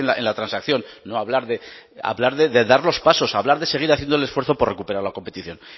en la transacción no hablar de hablar de dar los pasos hablar de seguir haciendo el esfuerzo por recuperar la competición